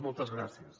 moltes gràcies